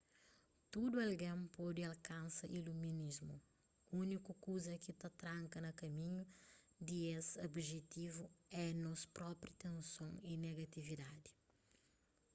tudu algen pode alkansa iluminismu úniku kuza ki ta tranka na kaminhu di es objetivu é nos propi tenson y negatividadi